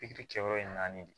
Pikiri kɛ yɔrɔ in na naani de